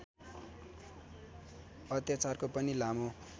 अत्याचारको पनि लामो